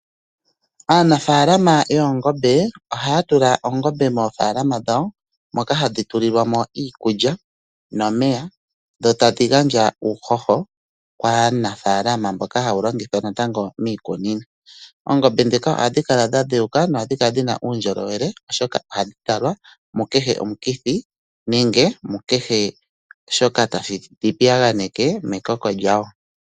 Aanafaalama yoongombe ohaya tula oongombe moofaalama dhawo moka hadhi tulilwa mo iikulya nomeya dho tadhi gandja uuhoho kaanafaalama mboka hawu longithwa natango miikunino. Oongombe ndhika ohadhi kala dha dheuka nohadhi kala dhina uundjolowele oshoka ohadhi talwa mu kehe omukithi nenge mu kehe shoka tashi dhi piyaganeke mekoko lyadho.